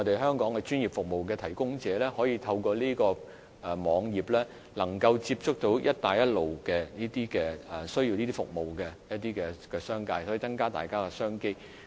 香港專業服務的提供者，亦都可以透過這個網頁接觸到"一帶一路"國家中需要其服務的商界人士，以增加商機。